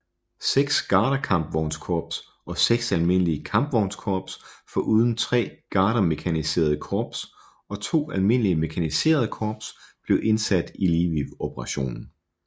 Seks gardekampvognskorps og seks almindelige kampvognskorps foruden tre gardemekaniserede korps og to almindelige mekaniserede korps blev indsat i Lviv operationen